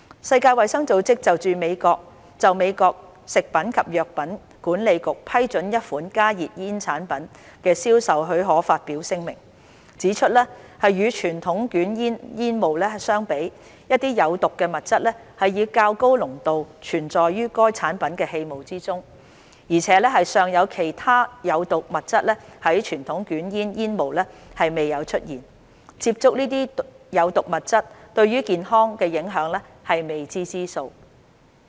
世界衞生組織就美國食品及藥物管理局批准一款加熱煙產品的銷售許可發表聲明，指出"與傳統捲煙煙霧相比，一些有毒物質以較高濃度存在於該產品的氣霧中，而且尚有其他有毒物質在傳統捲煙煙霧中未有出現，接觸這些有毒物質對健康的影響是未知之數"。